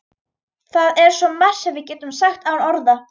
Það er svo margt sem við getum sagt án orða.